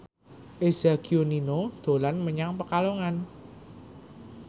Eza Gionino dolan menyang Pekalongan